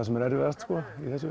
sem er erfiðast í þessu